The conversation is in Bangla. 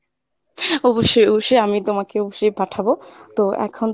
অবশ্যই অবশ্যই আমি তোমাকে অবশ্যই পাঠাবো তো এখন